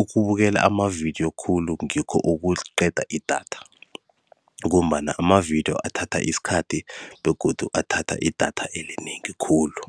ukubukela amavidiyo khulu ngikho okuqeda idatha, ngombana amavidiyo athatha isikhathi begodu athatha idatha elinengi khulu.